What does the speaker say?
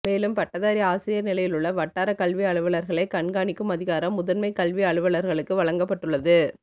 மேலும் பட்டதாரி ஆசிரியர் நிலையிலுள்ள வட்டார கல்வி அலுவலர்களை கண்காணிக்கும் அதிகாரம் முதன்மைக் கல்வி அலுவலர்களுக்கு வழங்கப்பட்டுள்ளது